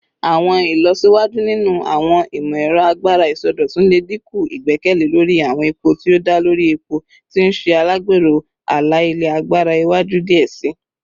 Awọn ilọsiwaju ninu awọn imọ-ẹrọ agbara isọdọtun le dinku igbẹkẹle lori awọn epo ti o da lori epo, ti n ṣe alagbero ala-ilẹ agbara iwaju diẹ sii.